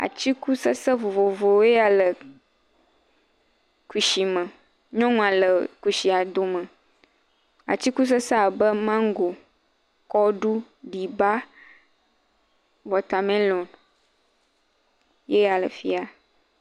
Atikutsetste vovovowo woe ya le kusi me. Nyɔnua le kusia do me. Atikutsetse abe mango, kɔɖu, ɖiba, watermelɔn yeya le fiya.